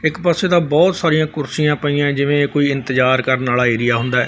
ਇੱਕ ਪਾਸੇ ਤਾਂ ਬਹੁਤ ਸਾਰੀਆਂ ਕੁਰਸੀਆਂ ਪਈਆਂ ਜਿਵੇਂ ਕੋਈ ਇੰਤਜ਼ਾਰ ਕਰਨ ਵਾਲਾ ਏਰੀਆ ਹੁੰਦਾ।